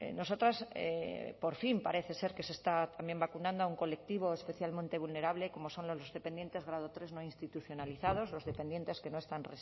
nosotros por fin parece ser que se está también vacunando a un colectivo especialmente vulnerable como son los dependientes grado tres no institucionalizados los dependientes que no están